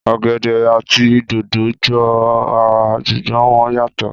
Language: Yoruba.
Ọ̀gẹ̀dẹ̀ àti dòdò jọ ra ṣùgbọ́n wọ́n yàtọ̀